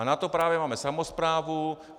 A na to právě máme samosprávu.